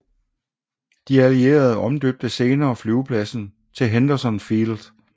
De allierede omdøbte senere flyvepladsen til Henderson Field